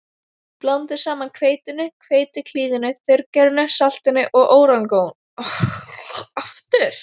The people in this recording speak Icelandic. Blandið saman hveitinu, hveitiklíðinu, þurrgerinu, saltinu og óreganóinu.